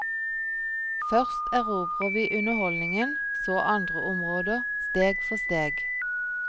Først erobrer vi underholdningen, så andre områder, steg for steg.